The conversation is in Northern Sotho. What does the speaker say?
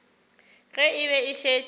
ge e be e šetše